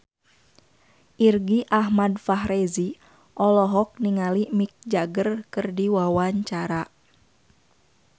Irgi Ahmad Fahrezi olohok ningali Mick Jagger keur diwawancara